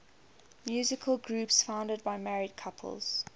musical groups founded by married couples